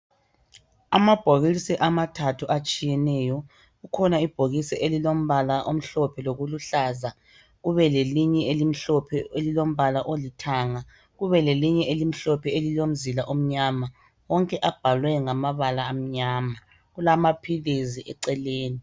Amabhokisi amathathu atshiyeneyo. Kukhona ibhokisi elilombala omhlophe lokuluhlaza. Kube lelinye elimhlophe elilombala olithanga. Kube lelinye elimhlophe elilomzila omnyama. Wonke abhalwe ngamabala amanyama. Kulamaphizi eceleni.